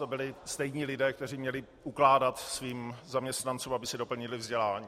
To byli stejní lidé, kteří měli ukládat svým zaměstnancům, aby si doplnili vzdělání.